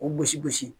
K'u gosi gosi